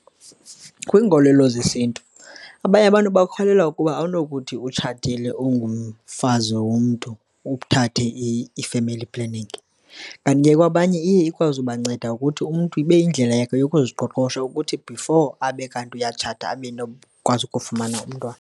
Kwiinkolelo zesiNtu, abanye abantu bakholelwa ukuba awunokuthi utshatile, ungumfazi womntu uthathe i-famly planning. Kanti ke kwabanye iya ikwazi ubanceda ukuthi umntu ibe yindlela yakhe yokuziqoqosha ukuthi before abe kanti uyatshata abe nokwazi ukufumana umntwana.